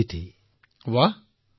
আৰে ৱাহ